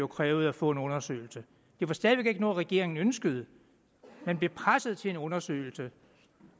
krævede at få en undersøgelse det var stadig væk ikke noget regeringen ønskede den blev presset til en undersøgelse